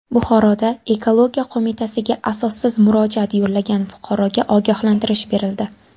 Buxoroda Ekologiya qo‘mitasiga asossiz murojaat yo‘llagan fuqaroga ogohlantirish berildi.